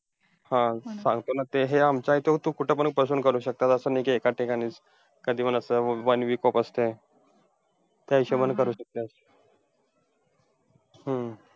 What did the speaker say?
हा सांगतो ना. ते हे आमचा आहे तो तू कुठेपण बसून करू शकतेय. असा नाही की एकाच ठिकाणी कधीपण असं one week off असतय. त्या हिशोबाने करू शकते. हम्म